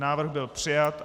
Návrh byl přijat.